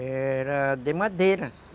Era de madeira.